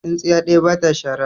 Tsintsiya ɗaya ba ta shara.